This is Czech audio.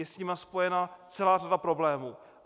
Je s nimi spojena celá řada problémů.